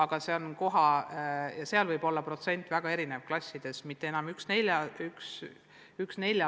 Ja seal võib kõnealune osakaal klassides väga erinev olla, mitte enam 1 : 4.